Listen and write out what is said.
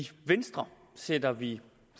venstre sætter vi